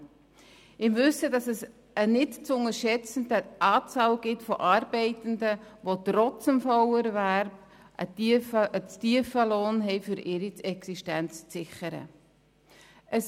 Dies im Wissen darum, dass es eine nicht zu unterschätzende Anzahl Arbeitender gibt, die trotz Vollerwerb einen zu tiefen Lohn erhalten, um ihre Existenz damit sichern zu können.